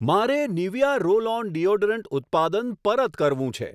મારે Nivea roll on deodorant ઉત્પાદન પરત કરવું છે.